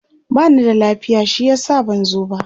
bani da lafiya shi yasa ban zo ba